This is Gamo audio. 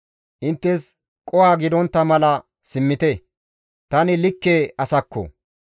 Inttes qoho gidontta mala simmite, tani likke asakko!